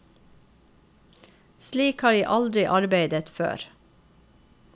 Slik har jeg aldri arbeidet før.